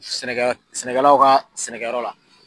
Sɛnɛkɛ sɛnɛkɛlaw ka sɛnɛkɛ yɔrɔ la.